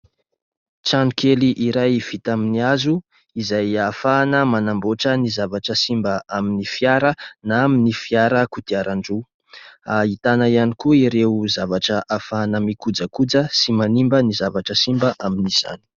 Trano kely iray vita amin'ny hazo, izay ahafahana manamboatra ny zavatra simba amin'ny fiara na amin'ny fiara kodiaran-droa. Ahitana ihany koa ireo zavatra ahafahana mikojakoja sy manimba ny zavatra simba amin'izany.